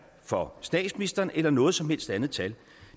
for statsministeren eller noget som helst andet tal